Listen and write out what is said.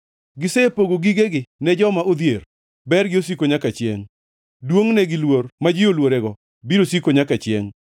Gisepogo gigegi ne joma odhier, bergi osiko nyaka chiengʼ; duongʼne gi luor ma ji oluorego, biro siko nyaka chiengʼ.